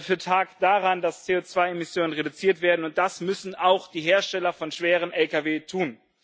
für Tag daran, dass CO2 Emissionen reduziert werden, und das müssen auch die Hersteller von schweren Lkw tun.